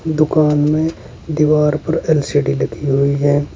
और दुकान में दीवार पर एल_सी_डी लगी हुई है।